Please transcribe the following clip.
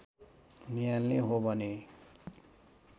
नियाल्ने हो भने